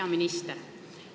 Hea minister!